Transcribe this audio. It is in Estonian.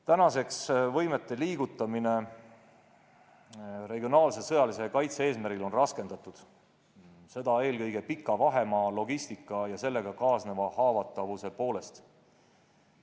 Praegu on võimete liigutamine regionaalse sõjalise kaitse eesmärgil raskendatud, seda eelkõige pika vahemaa, logistika ja sellega kaasneva haavatavuse poolest.